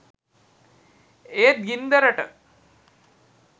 ඒත් ගින්දරට